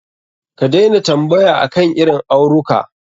Ka daina tambaya akan irin auruka.